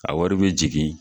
A wari be jigin